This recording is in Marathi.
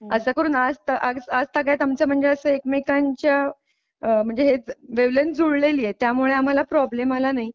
अस करून आज आज आजतागायत आमचं म्हणजे असं एकमेकांच्या वेवलेंथ जुळलेली आहे त्यामुळे आम्हाला प्रॉब्लेम आला नाही